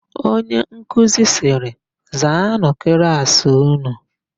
Onyenkuzi sịrị, "zaanụ klaasị ụnụ"!